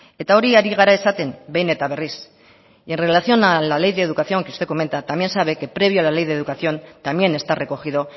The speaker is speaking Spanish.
eta hori ari gara esaten behin eta berriz en relación a la ley de educación que usted comenta también sabe que previo a la ley de educación también está recogido